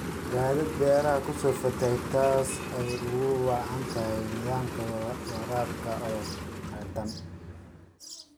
Daadad beeraha ku soo fatahay taasoo ay ugu wacan tahay nidaamka waraabka oo khaldan.